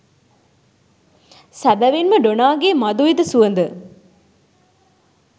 සැබැවින්ම ඩොනාගේ මධුවිත සුවඳ